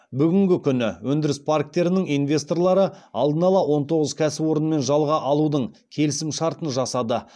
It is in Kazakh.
бүгінгі күні өндіріс парктерінің инвесторлары алдын ала он тоғыз кәсіпорынмен жалға алудың келісімшартын жасады